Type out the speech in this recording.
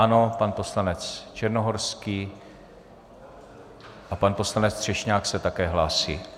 Ano, pan poslanec Černohorský a pan poslanec Třešňák se také hlásí.